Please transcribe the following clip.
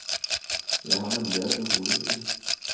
Jeg har nemlig et urolig sinn.